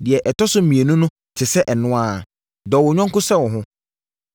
Deɛ ɛtɔ so mmienu no te sɛ ɛno ara: ‘Dɔ wo yɔnko sɛ wo ho.’